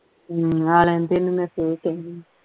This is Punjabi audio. ਹਮ ਆ ਲੈਣ ਦੇ ਇਹਨੂੰ ਮੈਂ ਫਿਰ ਕਿਹਨੀ